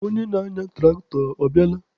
Onye na-anya tụraktọ, ọ bịala?